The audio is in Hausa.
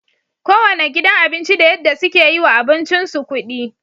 Kowanne gidan abinci da yadda suke yiwa abincin su kudi